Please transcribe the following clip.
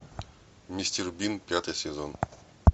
мистер бин пятый сезон